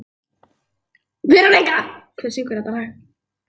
Verónika, hver syngur þetta lag?